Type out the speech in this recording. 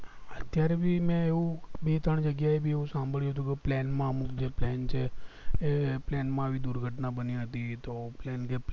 અત્યારે મેં ભી એવું ભી ત્રણ જગ્યા એ ભી એવું સાંભળ્યું હતું કે plane માં અમુક જે plane છે એ plane માં આવી દુર્ઘટના બની હતી તો plane